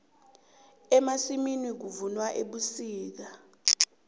emasimini kuvunwa ebusika